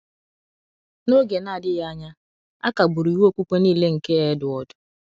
Na oge na adighi anya, a kagburu iwu okpukpe nile nke Edward.